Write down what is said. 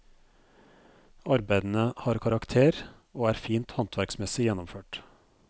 Arbeidene har karakter, og er fint håndverksmessig gjennomført.